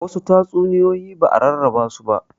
Wasu tatsuniyoyi ba'a rarraba su ba